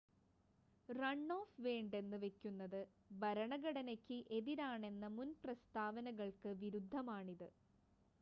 run off വേണ്ടെന്ന് വെക്കുന്നത് ഭരണഘടനയ്ക്ക് എതിരാണെന്ന മുൻ പ്രസ്താവനകൾക്ക് വിരുദ്ധമാണിത്